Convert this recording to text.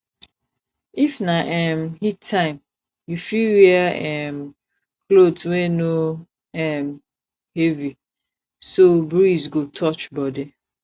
if na um heat time you fit wear um cloth wey no um heavy so breeze go touch body